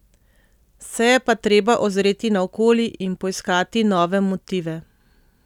Se je pa treba ozreti naokoli in poiskati nove motive.